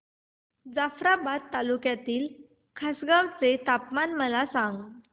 जाफ्राबाद तालुक्यातील खासगांव चे तापमान मला सांग